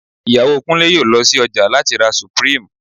Ìyàwó Kúnlé yóò lọ sí ọjà láti ra Supreme